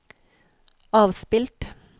avspilt